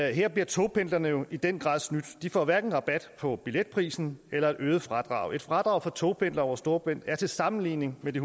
her bliver togpendlerne jo i den grad snydt de får hverken rabat på billetprisen eller øget fradrag fradrag for togpendlere over storebælt er til sammenligning med de